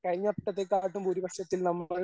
കഴിഞ്ഞ വട്ടത്തെ കാട്ടിലും ഭൂരിപക്ഷത്തിൽ നമ്മൾ